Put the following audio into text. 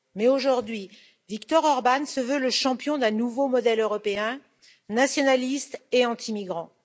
Mais aujourd'hui, Viktor Orbán se veut le champion d'un nouveau modèle européen nationaliste et anti migrants.